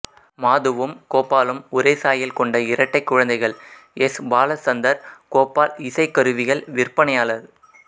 மாதுவும் கோபாலும் ஒரே சாயல் கொண்ட இரட்டைக் குழந்தைகள் எஸ் பாலச்சந்தர் கோபால் இசைக் கருவிகள் விற்பனையாளர்